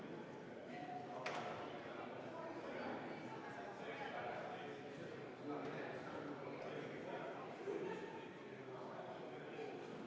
EKRE fraktsioon on teinud ettepaneku eelnõu 380 teine lugemine katkestada ja nüüd me peame seda hääletama.